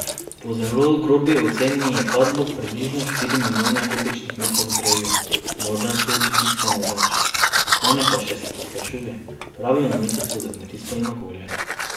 Po zelo grobi oceni je padlo približno štiri milijone kubičnih metrov drevja, morda tudi bistveno več, stanje pa se še poslabšuje, pravijo na ministrstvu za kmetijstvo in okolje.